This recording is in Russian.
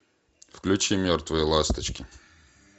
включи мертвые ласточки